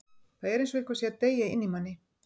Það er eins og eitthvað sé að deyja inni í manni.